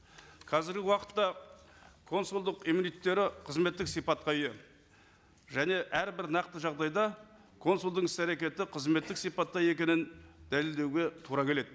қазіргі уақытта консулдық қызметтік сипатқа ие және әрбір нақты жағдайда консулдың іс әрекеті қызметтік сипатта екенін дәлелдеуге тура келеді